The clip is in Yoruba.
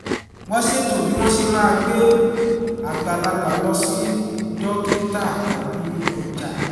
wọ́n ṣètò bí wọ́n ṣe máa gbé àgbàlagbà lọ sí dókítà tàbí ọjà